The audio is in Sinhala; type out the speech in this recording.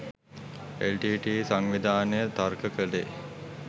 එල්.ටී.ටී.ඊ. සංවිධානය තර්ක කළේ